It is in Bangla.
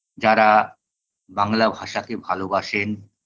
যারা বাংলা ভাষাকে ভালোবাসেন